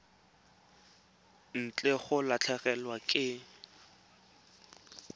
ntle ga go latlhegelwa ke